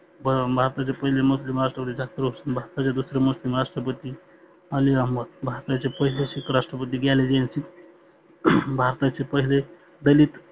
पण भारताचे पहिले मुस्लिम राष्ट्रपरी, दुसरे राष्ट्रपती आली अहमद, भारताचे पहिले सिख राष्ट्रपती झैल सिंग, भारताचे पहिले दलित